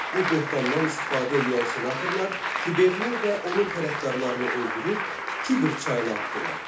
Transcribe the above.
Bu böhtandan istifadə eləyən senatorlar Tiberini və onun tərəfdarlarını öldürüb Tiber çayına atdılar.